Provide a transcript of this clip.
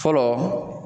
Fɔlɔ